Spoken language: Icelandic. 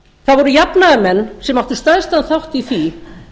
það voru jafnaðarmenn sem áttu stærstan þátt í því